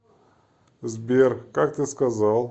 сбер как ты сказал